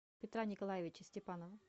петра николаевича степанова